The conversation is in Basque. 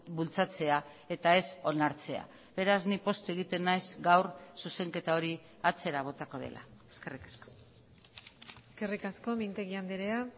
bultzatzea eta ez onartzea beraz ni poztu egiten naiz gaur zuzenketa hori atzera botako dela eskerrik asko eskerrik asko mintegi andrea